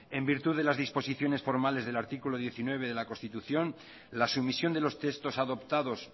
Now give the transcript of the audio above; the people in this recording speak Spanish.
en virtud disposiciones formales del artículo diecinueve de la constitución la sumisión de los textos adoptados